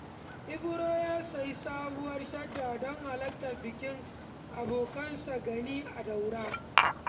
Ibro ya sayi sabuwar shadda don halartar bikin abokinsa Gani a Daura.